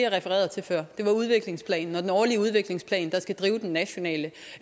refererede til før det var udviklingsplanen og den årlige udviklingsplan der skal drive den nationale